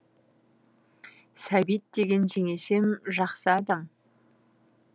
сәбит деген жеңешем жақсы адам